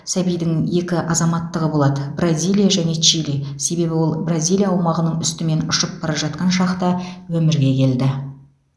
сәбидің екі азаматтығы болады бразилия және чили себебі ол бразилия аумағының үстімен ұшып бара жатқан шақта өмірге келді